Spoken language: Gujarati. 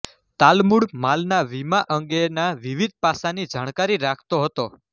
તાલમુડ માલના વીમા અંગેના વિવિધ પાસાની જાણકારી રાખતો હતો